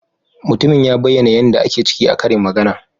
Mutumin ya bayyana yan da ake ciki a karin magana.